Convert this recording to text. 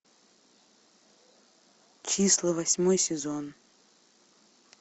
числа восьмой сезон